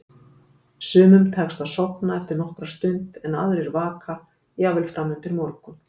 Sumum tekst að sofna eftir nokkra stund en aðrir vaka, jafnvel fram undir morgun.